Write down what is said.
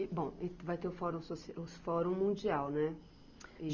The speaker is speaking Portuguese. E, bom, vai ter o Fórum soci, os fórum mundial, né?